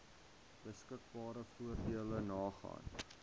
beskikbare voordele nagaan